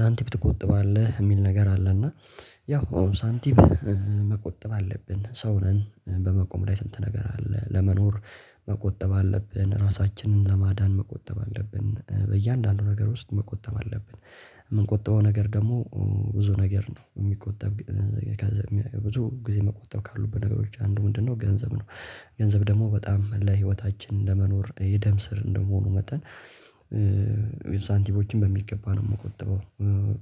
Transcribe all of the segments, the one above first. ሳንቲም ትቆጥባለህ የሚል ነገር አለ እና ያው ሳንቲም መቆጠብ አለብን ሰው ነን በመቆም ላይ ስንት ነገር አለ ለመኖር መቆጠብ አለብን ራሳችንን ለማዳን መቆጠብ አለብን በእያንዳንዱ ነገር ውስጥ መቆጠብ አለብን የምንቆጥበው ነገር ደግሞ ብዙ ነገር ነው የሚቆጠብ ብዙ ጊዜ መቆጠብ ካሉበን ነገሮች አንዱ ምንድነው? ገንዘብ ነው። ገንዘብ ደግሞ በጣም ለህይወታችን ለመኖር የደም ስር እንደመሆኑ መጣን ሳንቲሞችን በሚገባ ነው የምቆጥበው።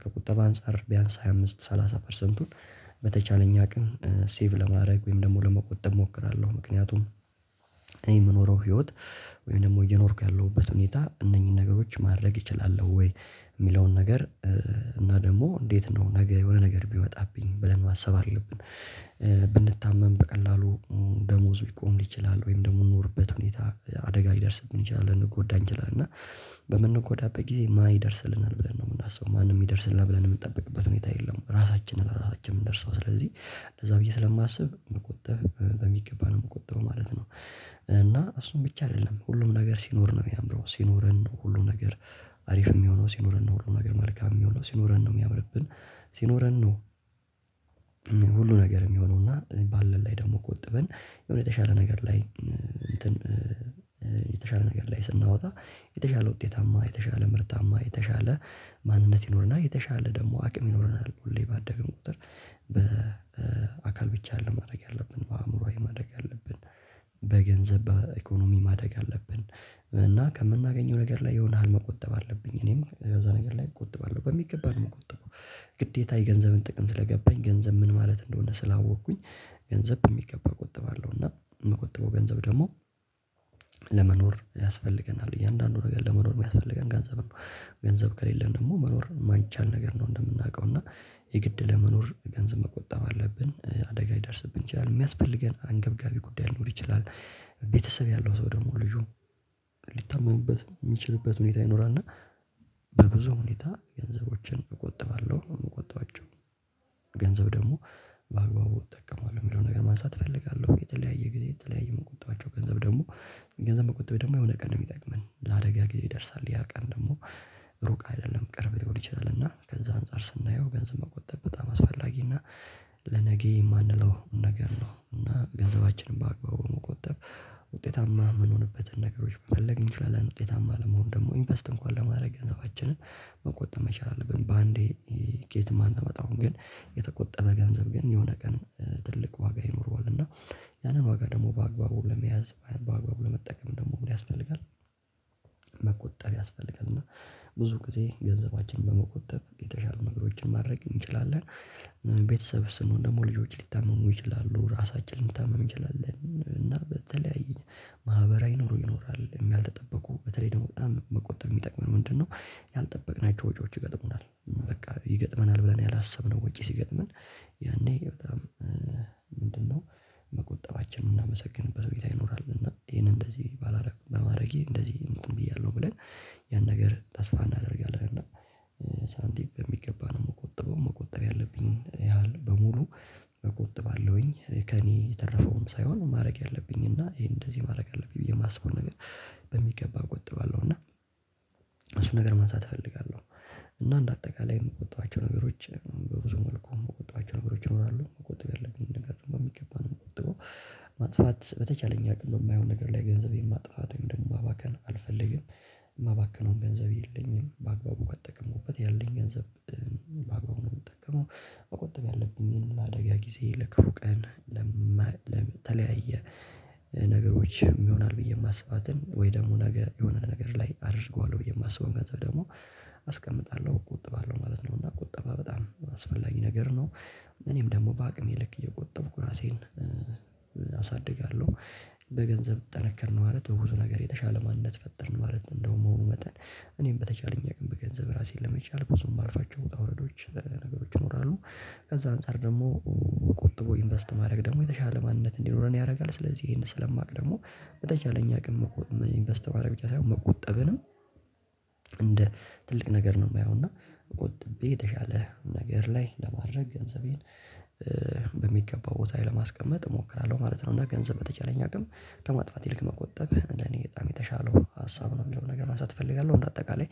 ከቁጠባ አንፃር ቢያንስ ሃያ አምስት ሰላሳ ፐርሰንቱን በተቻለኝ ቀን ሴቭ ለማድረግ ወይም ደግሞ ለመቆጠብ እሞክራለሁ። ምክንያቱም እኔ የምኖረው ህይወት ወይም ደግሞ እየኖርኩ ያለሁበት ሁኔታ እነኚህን ነገሮች ማድረግ እችላለሁ ወይ የሚለውን ነገር እና ደግሞ እንዴት ነው ነገ የሆነ ነገር ቢመጣብኝ ብለን ማሰብ አለብን። ብንታመም በቀላሉ ደሞዙ ሊቆም ይችላል ወይም ደግሞ የምኖርበት ሁኔታ አደጋ ሊደርስብን ይችላል ልንድንጎዳ እንችላለን እና በምንጎዳበት ጊዜ ማን ይደርስልናል ብለን ነው የምናስበው ማንም ይደርስልናል ብለን የምንጠብቅበት ሁኔታ የለም። ራሳችን ለራሳችን የምንደርሰው ስለዚህ ለዛ ብዬ ስለማስብ መቆጠብ በሚገባ ነው የምቆጥበው ማለት ነው። እና እሱን ብቻ አይደለም ሁሉም ነገር ሲኖር ነው የሚያምረው ሲኖረን ነው ሁሉም ነገር አሪፍ የሚሆነው ሲኖረን ነው ሁሉ ነገር መልካም የሚሆነው ሲኖረን ነው የሚያምርብን ሲኖረን ነው። ሁሉ ነገር የሚሆነው እና ባለን ላይ ደግሞ ቆጥበን የሆነ የተሻለ ነገር ላይ እንትን የተሻለ ነገር ላይ ስናወጣ የተሻለ ውጤታማ የተሻለ ምርታማ የተሻለ ማንነት ይኖረናል የተሻለ ደግሞ አቅም ይኖረናል ሁሌ ባደግን ቁጥር በአካል ብቻ አይደለም ማደግ ያለብን በአእምሮአዊ ማደግ አለብን። በገንዘብ በኢኮኖሚ ማደግ አለብን። እና ከምናገኘው ነገር ላይ የሆነ ያህል መቆጠብ አለብኝ እኔም እዛ ነገር ላይ እቆጥባለሁ በሚገባ ነው የምቆጥበው። ግዴታ የገንዘብን ጥቅም ስለገባኝ ገንዘብ ምን ማለት እንደሆነ ስላወቅኩኝ ገንዘብ በሚገባ እቆጥባለሁ አለው እና የምቆጥረው ገንዘብ ደግሞ ለመኖር ያስፈልገናል እያንዳንዱ ነገር ለመኖር የሚያስፈልገን ገንዘብ ነው። ገንዘብ ከሌለን ደግሞ መኖር የማይቻል ነገር ነው። እንደምናውቀው እና የግድ ለመኖር ገንዘብ መቆጠብ አለብን አደጋ ሊደርስብን ይችላል የሚያስፈልገን አንገብጋቢ ጉዳይ ሊኖር ይችላል። ቤተሰብ ያለው ሰው ደግሞ ልጁ ሊታመሙበት የሚችልበት ሁኔታ ይኖራል። እና በብዙ ሁኔታ ገንዘቦችን እቆጥባለሁ የምቆባጥቸው ገንዘብ ደግሞ በአግባቡ እጠቀማለሁ የሚለውን ነገር ማንሳት እፈልጋለሁ። የተለያየ ጊዜ የተለያየ የምቆጥባቸው ገንዘብ ደግሞ ገንዘብ መቆጠብ ደግሞ የሆነ ቀን ነው የሚጠቅመን ለአደጋ ጊዜ ይደርሳል ያ ቀን ደግሞ ሩቅ አይደለም ቅርብ ሊሆን ይችላል። እና ከዛ አንፃር ስናየው ገንዘብ መቆጠብ በጣም አስፈላጊ እና ለነገ የማንለው ነገር ነው እና ገንዘባችንን በአግባቡ መቆጠብ ውጤታማ የምንሆንበትን ነገሮች መፈለግ እንችላለን። ውጤታማ ለመሆን ደግሞ ኢንቨስት እንኳን ለማድረግ ገንዘባችንን መቆጠብ መቻል አለብን። በአንዴ ከየትም አናመጣውም ግን የተቆጠበ ገንዘብ ግን የሆነ ቀን ትልቅ ዋጋ ይኖረዋል እና ያንን ዋጋ ደግሞ በአግባቡ ለመያዝ በአግባቡ ለመጠቀም ደግሞ ምን ያስፈልጋል? መቆጠብ ያስፈልጋል እና ብዙ ጊዜ ገንዘባችን በመቆጠብ የተሻሉ ነገሮችን ማድረግ እንችላለን። ቤተሰብ ስንሆን ደግሞ ልጆች ሊታመኑ ይችላሉ ራሳችን ልንታመም እንችላለን እና በተለያዩ ማህበራዊ ኑሮ ይኖራል ያልተጠበቁ በተለይ ደግሞ በጣም መቆጠብ የሚጠቅመን ምንድነው? ያልጠበቅናቸው ወጪዎች ይገጥሙናል በቃ ይገጥመናል ብለን ያላሰብነው ወጪ ሲገጥመን ያኔ በጣም ምንድነው መቆጠባችንን የምናመሰግንበት ሁኔታ ይኖራል። እና ይሄን እንደዚህ ባላደርግ በማድረጌ እንደዚህ እንትን ብያለሁ ብለን ያን ነገር ተስፋ እናደርጋለን እና ሳንቲም በሚገባ ነው የምቆጥበው መቆጠብ ያለብኝን ያህል በሙሉ እቆጥባለውኝ ከእኔ የተረፈውም ሳይሆን ማድረግ ያለብኝ እና ይሄን እንደዚህ ማድረግ አለብኝ የማስበውን ነገር በሚገባ እቆጥባለሁ። እና እሱን ነገር ማንሳት እፈልጋለሁ እና እንደ አጠቃላይ የምቆጥባቸው ነገሮች በብዙ መልኩ የምቆጥባቸው ነገሮች ይኖራሉ መቆጠብ ያለብኝን ነገር በሚገባ ነው የምቆጥበው። ማጥፋት በተቻለኝ አቅም በማይሆን ነገር ላይ ገንዘብ የማጥፋትን ወይም ደግሞ ማባከን አልፈልግም። ማባክነውም ገንዘብ የለኝም በአግባቡ ከተጠቀምኩበት ያለኝ ገንዘብ ባግባቡ ነው የምጠቀመው። መቆጠብ ያለብኝን ለአደጋ ጊዜ ለክፉ ቀን ለተለያየ ነገሮች ይሆናል ብዬ የማስባትን ወይ ደግሞ ነገ የሆነ ነገር ላይ አደርገዋለሁ ብዬ የማስበውን ገንዘብ ደግሞ አስቀምጣለሁ እቆጥባለሁ ማለት ነው። እና ቁጠባ በጣም አስፈላጊ ነገር ነው። እኔም ደግሞ በአሜም ልክ እየቆጠብኩ ራሴን አሳድጋለሁ በገንዘብ ጠነከርን ማለት በብዙ ነገር የተሻለ ማንነት ፈጠርን ማለት እንደመሆኑ መሆኑ መጠን እኔም በተቻለኝ አቅም በገንዘብ ራሴን ለመቻል ብዙ የማልፋቸው ውጣ ውረዶች ነገሮች ይኖራሉ ከዛ አንፃር ደግሞ ቆጥቦ ኢንቨስት ማድረግ ደግሞ የተሻለ ማንነት እንዲኖረን ያደርጋል። ስለዚህ ይሄን ስለማውቅ ደግሞ በተቻለኝ አቅም ኢንቨስት ማድረግ ብቻ ሳይሆን መቆጠብንም እንደ ትልቅ ነገር ነው የማየው። እና ቆጥቤ የተሻለ ነገር ላይ ለማድረግ ገንዘቤን በሚገባው ቦታዬ ለማስቀመጥ እሞክራለሁ ማለት ነው። እና ገንዘብ በተቻለኝ አቅም ከማጥፋት ይልቅ መቆጠብ እንደኔ በጣም የተሻለው ሀሳብ ነው። የሚለውን ነገር ማንሳት እፈልጋለሁ። በአጠቃላይ